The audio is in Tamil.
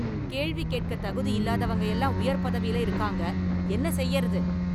கேள்வி கேட்க தகுதி இல்லாதவங்க எல்லாம் உயர்பதவியில இருக்காங்க என்ன செய்றது?